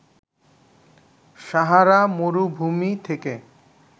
সাহারা মরুভূমি থেকে